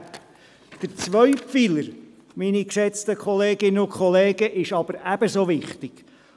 Der zweite Pfeiler, meine geschätzte Kolleginnen und Kollegen, ist aber ebenso wichtig.